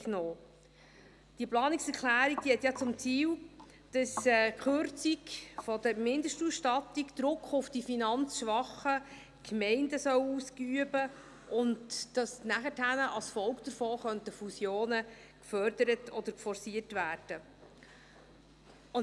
Diese Planungserklärung hat zum Ziel, dass die Kürzung der Mindestausstattung Druck auf die finanzschwachen Gemeinden ausüben soll, und dass danach als Folge davon Fusionen gefördert oder forciert werden könnten.